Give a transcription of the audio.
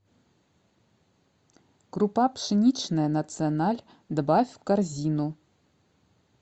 крупа пшеничная националь добавь в корзину